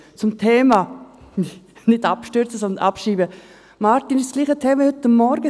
Martin Schlup, es ist dasselbe Thema wie heute Morgen.